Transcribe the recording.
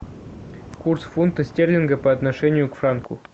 курс фунта стерлинга по отношению к франку